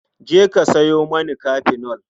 Je ka sawo mani kafenol.